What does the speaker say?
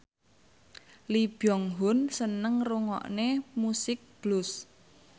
Lee Byung Hun seneng ngrungokne musik blues